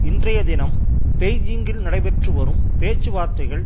இன்றைய தினம் பெய்ஜிங்கில் நடைபெற்று வரும் பேச்சுவார்த்தைகள்